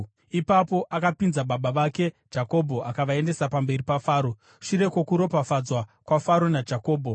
Ipapo akapinza baba vake Jakobho akavaendesa pamberi paFaro. Shure kwokuropafadzwa kwaFaro naJakobho,